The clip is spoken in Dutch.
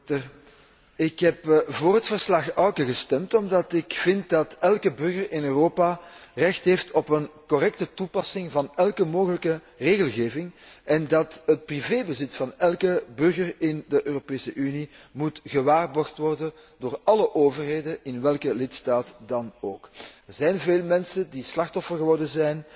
Voorzitter, ik heb voor het verslag Auken gestemd omdat ik vind dat elke burger in Europa recht heeft op een correcte toepassing van elke mogelijke regelgeving en dat het privébezit van elke burger in de Europese Unie gewaarborgd moet worden door alle overheden in welke lidstaat dan ook. Er zijn veel mensen het slachtoffer geworden